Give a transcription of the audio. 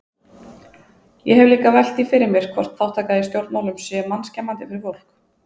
Ég hef líka velt því fyrir mér hvort þátttaka í stjórnmálum sé mannskemmandi fyrir fólk?